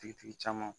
Tigitigi caman